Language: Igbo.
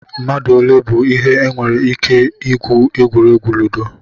Mmadụ olee bụ ihe nwere ike igwu egwuregwu ludo?